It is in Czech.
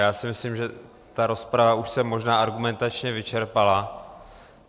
Já si myslím, že ta rozprava už se možná argumentačně vyčerpala.